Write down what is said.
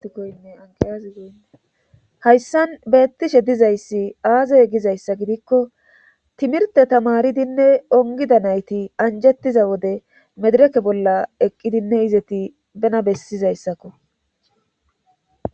Hayssan beettishe dizayssi aazey gizayssa gidikko timirte tamaridinne ongida nayti anjettiza wode medereke bolla eqqidinne izeti bena bessizayssakko.